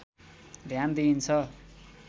ध्यान दिइन्छ